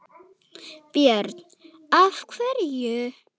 Björn: Af hverju?